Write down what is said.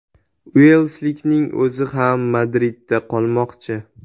Uelslikning o‘zi ham Madridda qolmoqchi.